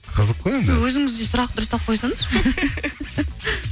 қызық қой енді өзіңіз де сұрақты дұрыстап қойсаңызшы